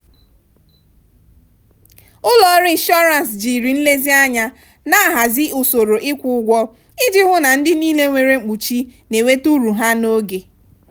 ụlọọrụ inshọrans jiri nlezianya na-ahazi usoro ịkwụ ụgwọ iji hụ na ndị niile nwere mkpuchi na-enweta uru ha n'oge.